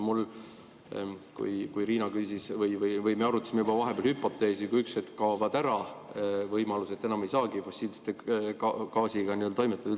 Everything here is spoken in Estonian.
Riina küsis ja me arutasime vahepeal juba hüpoteesi, et kui üks hetk kaovad võimalused ära, enam ei saagi fossiilse gaasiga üldse toimetada.